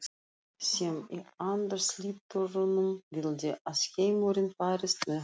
sem í andarslitrunum vildi að heimurinn færist með honum.